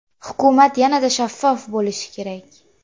Hukumat yanada shaffof bo‘lishi kerak.